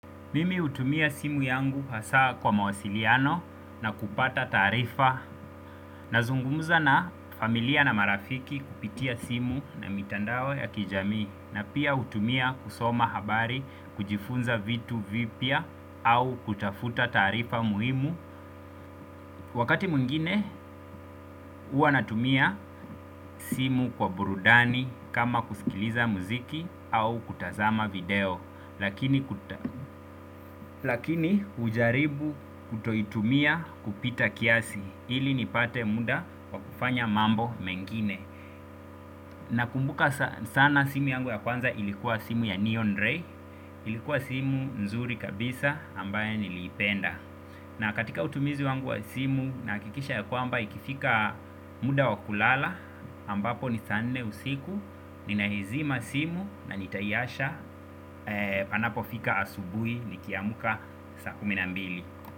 Mimi hutumia simu yangu hasa kwa mawasiliano na kupata taarifa nazungumza na familia na marafiki kupitia simu na mitandao ya kijamii na pia hutumia kusoma habari kujifunza vitu vipya au kutafuta taarifa muhimu. Wakati mwingine huwa natumia simu kwa burudani kama kusikiliza muziki au kutazama video. Lakini hujaribu kutoitumia kupita kiasi ili nipate muda wakufanya mambo mengine. Nakumbuka sana simu yangu ya kwanza ilikuwa simu ya Neon Ray. Ilikuwa simu nzuri kabisa ambaye nilipenda. Na katika utumizi wangu wa simu nahakikisha ya kwamba ikifika muda wakulala ambapo ni saa nne usiku. Ninaizima simu nanitaiacha. Panapo fika asubui nikiamka saa kumi na mbili.